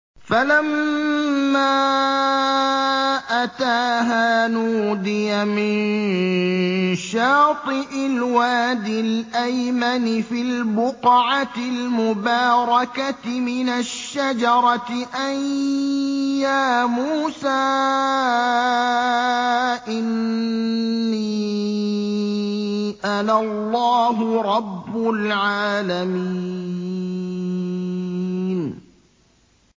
فَلَمَّا أَتَاهَا نُودِيَ مِن شَاطِئِ الْوَادِ الْأَيْمَنِ فِي الْبُقْعَةِ الْمُبَارَكَةِ مِنَ الشَّجَرَةِ أَن يَا مُوسَىٰ إِنِّي أَنَا اللَّهُ رَبُّ الْعَالَمِينَ